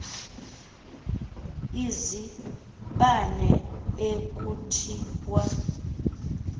izibane ekuthi wa